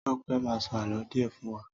Tọ́pẹ́ máa sọ àlọ́ díè fún wa